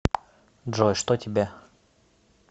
джой что тебе